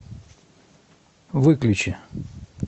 выключи